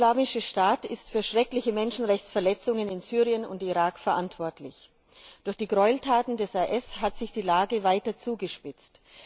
Der Islamische Staat ist für schreckliche Menschenrechtsverletzungen in Syrien und Irak verantwortlich. Durch die Gräueltaten des IS hat sich die Lage weiter zugespitzt.